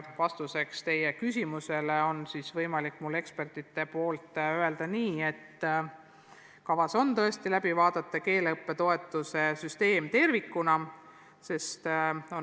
Vastuseks teie küsimusele on mul võimalik ekspertide nimel öelda, et kavas on tõesti läbi vaadata keeleõppe toetuse süsteem tervikuna.